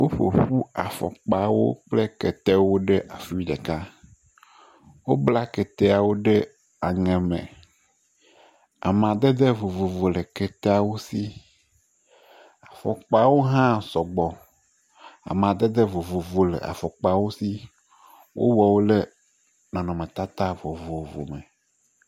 Woƒo ƒu afɔkpawo kple ketewo ɖe afi ɖeka. Wobla keteawo ɖe aŋe me. Amadede vovovo le keteawo si. Afɔkpawo hã sɔgbɔ. Amadede vovovo le afɔkpawo si. Wowɔ wo ɖe nɔnɔmetata vovovo me.